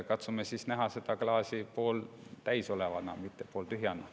Katsume näha seda klaasi pooltäis olevana, mitte pooltühjana.